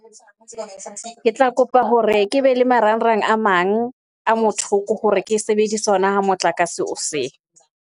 Ke tla kopa hore ke be le marangrang a mang a motho ke hore ke sebedise hona ha motlakase o .